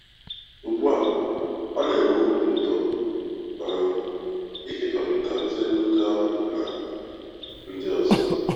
Ugbu a, ọ na-enwe obi ụtọ um ịkekọrịta ozi edemede ahụ na ndị ọzọ.